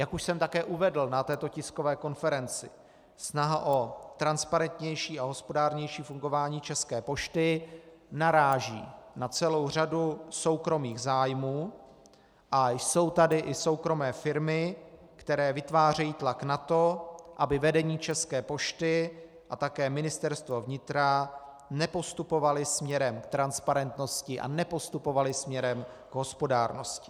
Jak už jsem také uvedl na této tiskové konferenci, snaha o transparentnější a hospodárnější fungování České pošty naráží na celou řadu soukromých zájmů a jsou tady i soukromé firmy, které vytvářejí tlak na to, aby vedení České pošty a také Ministerstvo vnitra nepostupovala směrem k transparentnosti a nepostupovala směrem k hospodárnosti.